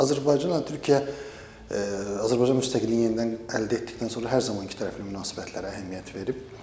Azərbaycanla Türkiyə, Azərbaycan müstəqilliyini yenidən əldə etdikdən sonra hər zaman ikitərəfli münasibətlərə əhəmiyyət verib.